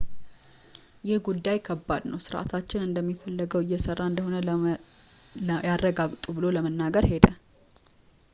ይህ ጉዳይ ከባድ ነው ሥርዓታችን እንደሚፈለገው እየሰራ እንደሆነ ያረጋግጡ ብሎ ለመናገር ሄደ